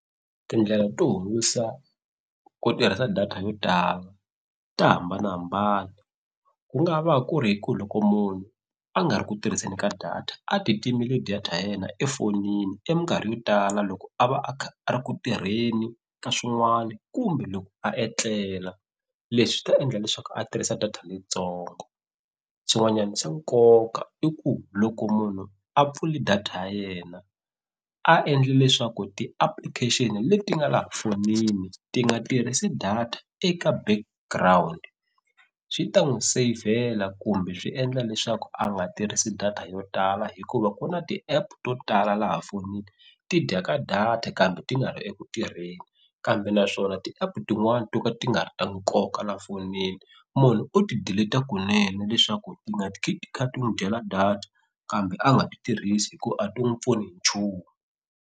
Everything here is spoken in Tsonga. Tindlela to hundzisa ku tirhisa data yo tala ta hambanahambana ku nga va ku ri hi ku loko munhu a nga ri ku tirhiseni ka data a ti timeli data ya yena efonini eminkarhi yo tala loko a va a kha a ri ku tirheni ka swin'wani kumbe loko a etlela leswi ta endla leswaku a tirhisa data leyitsongo swin'wanyani swa nkoka i ku loko munhu a pfuli data ya yena a endli leswaku ti-application leti nga laha fonini ti nga tirhisi data eka background swi ta n'wu seyivhela kumbe swi endla leswaku a nga tirhisi data yo tala hikuva ku na ti-app to tala laha fonini ti dya ka data kambe ti nga ri eku tirheni kambe naswona va ti-app tin'wani to ka ti nga ri ta nkoka la fonini munhu o ti delete kunene leswaku ti nga ti khi ti kha ti n'wi dyela data kambe a nga ti tirhisi hi ku a ti n'wi pfuni hi nchumu.